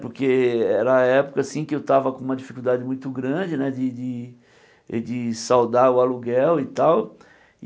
Porque era a época assim que eu estava com uma dificuldade muito grande né de de de saudar o aluguel e tal.